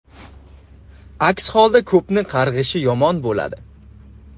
Aks holda ko‘pni qarg‘ishi yomon bo‘ladi.